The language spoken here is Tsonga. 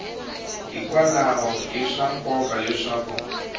hikwalaho i swa nkoka leswaku